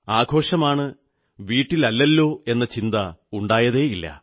ആഘോഷമാണ് വീട്ടിലല്ലല്ലോ എന്ന ചിന്ത ഉണ്ടായതേയില്ല